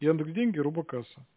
я люблю деньги робо касса